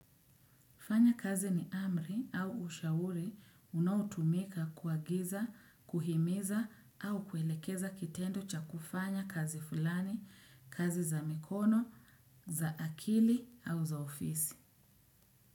Fanya kazi ni amri au ushauri unaotumika kuagiza, kuhimiza au kuelekeza kitendo cha kufanya kazi fulani, kazi za mikono, za akili au za ofisi.